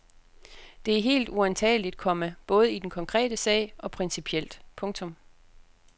Det er helt uantageligt, komma både i den konkrete sag og principielt. punktum